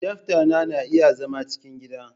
Adaftan na iya zama cikin gida